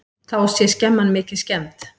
Þá sé skemman mikið skemmd.